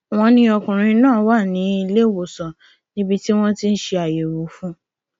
wọn ní ọkùnrin náà wà nílẹwọsán níbi tí wọn ti ń ṣe àyẹwò fún un